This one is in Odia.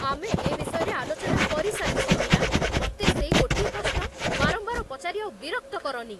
ଆମେ ଏ ବିଷୟରେ ଆଲୋଚନା କରିସାରିଛେ, ମୀରା! ମତେ ସେଇ ଗୋଟିଏ ପ୍ରଶ୍ନ ବାରମ୍ବାର ପଚାରି ଆଉ ବିରକ୍ତ କରନି।